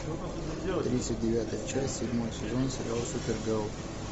тридцать девятая часть седьмой сезон сериал супергерл